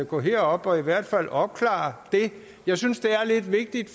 gå herop og i hvert fald opklare det jeg synes det er lidt vigtigt